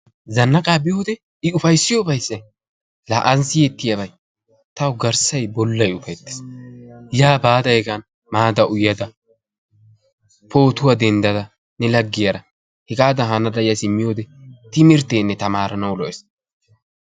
Zannaqaa biyode I ufayssiyo ufayssay, laa aani siyettiyabay, tawu garssay bollay ufayttees. Yaa baada hegan maada uyada, pootuwa denddada, ne laggiyara hegaadan hanada ya simmiyode timirtteenne tamaaranawu lo''ees.